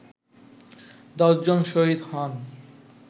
১০ জন শহীদ হন